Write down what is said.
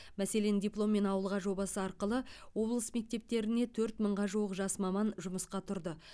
мәселен дипломмен ауылға жобасы арқылы облыс мектептеріне төрт мыңға жуық жас маман жұмысқа тұрды